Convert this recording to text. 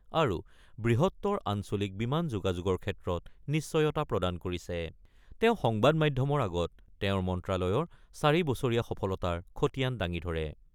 আৰু বৃহত্তৰ আঞ্চলিক বিমান যোগাযোগৰ ক্ষেত্ৰত নিশ্চয়তা প্ৰদান কৰিছে৷ তেওঁ সংবাদ মাধ্যমৰ আগত তেওঁৰ মন্ত্ৰালয়ৰ চাৰি বছৰীয়া সফলতাৰ খতিয়ান দাঙি ধৰে।